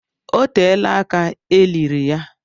O teela aka eliri ya.